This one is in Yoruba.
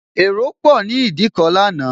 Èrò pò ni Ìdíkọ̀ lánàá